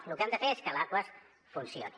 lo que hem de fer és que l’aquas funcioni